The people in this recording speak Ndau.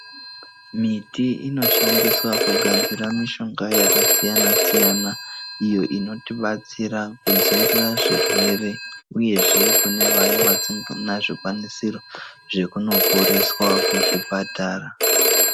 Miti inoshandiswa kugadzira mishonga yakasiyana siyana iyo inotibatsira kudzivirira zvirwere uyezve kune vaya vasinga na zvikwanisiro zvekunoporeswa kuzvipatara.